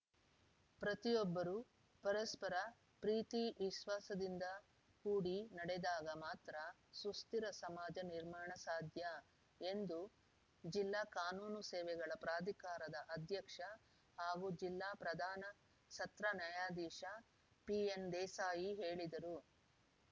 ಪ್ರತಿಯೊಬ್ಬರೂ ಪರಸ್ಪರ ಪ್ರೀತಿ ವಿಶ್ವಾಸದಿಂದ ಕೂಡಿ ನಡೆದಾಗ ಮಾತ್ರ ಸುಸ್ಥಿರ ಸಮಾಜ ನಿರ್ಮಾಣ ಸಾಧ್ಯ ಎಂದು ಜಿಲ್ಲಾ ಕಾನೂನು ಸೇವೆಗಳ ಪ್ರಾಧಿಕಾರದ ಅಧ್ಯಕ್ಷ ಹಾಗೂ ಜಿಲ್ಲಾ ಪ್ರಧಾನ ಸತ್ರ ನ್ಯಾಯಾಧೀಶ ಪಿಎನ್‌ದೇಸಾಯಿ ಹೇಳಿದರು